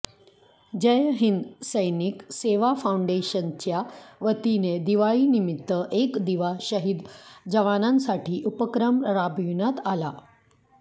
जय हिंद सैनिक सेवा फाऊंडेशनच्या वतीने दिवाळी निमित्त एक दिवा शहिद जवानांसाठी उपक्रम राबविण्यात आला